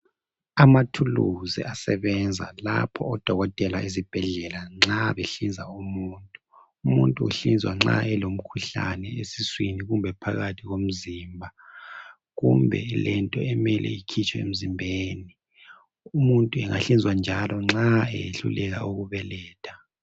Amathuluzi asebenza lapho oDokotela ezibhedlela nxa behlinza umuntu. Umuntu uhlinzwa nxa elomkhuhlane esiswini kumbe phakathi komzimba kumbe elento emele ikhitshwe emzimbeni, umuntu angahlinzwa njalo nxa eyehluleka ukubeletha.